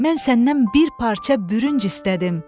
Mən səndən bir parça bürünc istədim.